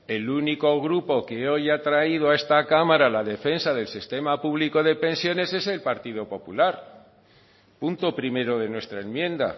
el único grupo que hoy ha traído a esta cámara la defensa del sistema público de pensiones es el partido popular punto primero de nuestra enmienda